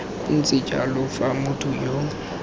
ntse jalo fa motho yo